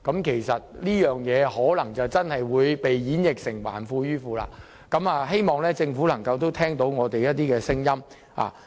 其實，這個安排很可能會被演繹為"還富於富"，希望政府能夠聽取我們的意見。